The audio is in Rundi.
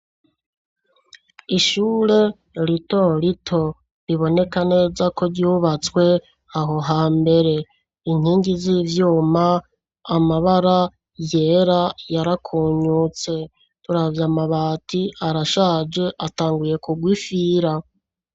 Ishure rito rito, riboneka neza, ko ryubatswe aho hambere; inkingi z'ivyuma, amabara yera, yarakunyutse; turavye amabati, arashaje, atanguye kurwa ifira.